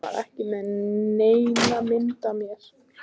Hann var ekki með neina mynd af mér